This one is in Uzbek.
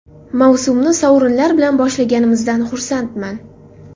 Mavsumni sovrinlar bilan boshlaganimizdan xursandman.